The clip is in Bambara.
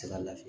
lafiya